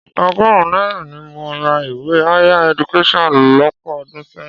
Ọgọ́rùn-ún náírà ni mo ra ìwé Higher Education lọ́pọ̀ ọdún sẹ́yìn.